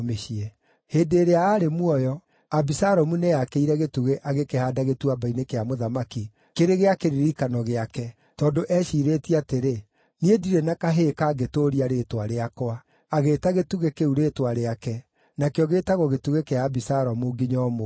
Hĩndĩ ĩrĩa aarĩ muoyo, Abisalomu nĩeyakĩire gĩtugĩ agĩkĩhaanda Gĩtuamba-inĩ kĩa Mũthamaki kĩrĩ gĩa kĩririkano gĩake, tondũ eeciirĩtie atĩrĩ, “Niĩ ndirĩ na kahĩĩ kangĩtũũria rĩĩtwa rĩakwa.” Agĩĩta gĩtugĩ kĩu rĩĩtwa rĩake, nakĩo gĩĩtagwo Gĩtugĩ kĩa Abisalomu nginya ũmũthĩ.